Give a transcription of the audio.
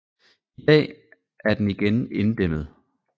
I dag er den igen inddæmmet